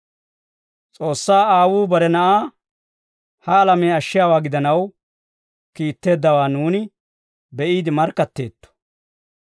S'oossaa Aawuu bare Na'aa ha alamiyaa ashshiyaawaa gidanaw kiitteeddawaa nuuni be'iide markkatteetto.